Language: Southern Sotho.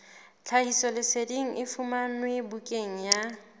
tlhahisoleseding e fumanwe bukaneng ya